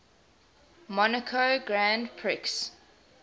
monaco grand prix